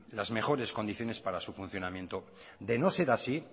las mejores condiciones para su funcionamiento de no ser así